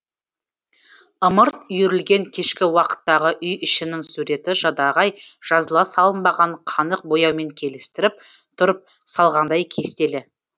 ымырт үйірілген кешкі уақыттағы үй ішінің суреті жадағай жазыла салынбаған қанық бояумен келістіріп тұрып салғандай кестелі